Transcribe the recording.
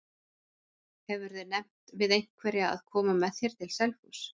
Hefurðu nefnt við einhverja að koma með þér til Selfoss?